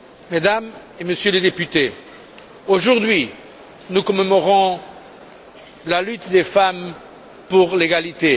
Mesdames et Messieurs les députés, aujourd'hui, nous commémorons la lutte des femmes pour l'égalité.